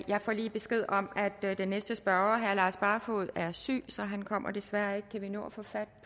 jeg får lige besked om at den næste spørger herre lars barfoed er syg så han kommer desværre ikke kan vi nå at få fat